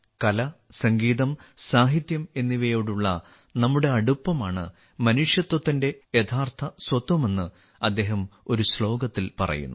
കല സംഗീതം സാഹിത്യം എന്നിവയോടുള്ള നമ്മുടെ അടുപ്പമാണ് മനുഷ്യത്വത്തിന്റെ യഥാർത്ഥ സ്വത്വമെന്ന് അദ്ദേഹം ഒരു ശ്ലോകത്തിൽ പറയുന്നു